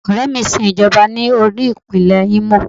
Ọ̀rẹ́ mi sin Ìjọba ní olú-ipinle Imo.